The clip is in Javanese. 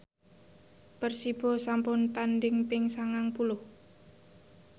Persibo sampun tandhing ping sangang puluh